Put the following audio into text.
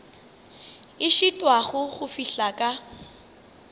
a šitwago go fihla ka